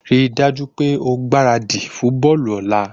Rí dájú wípé o gbáradì fún bọ́ọ̀lù òla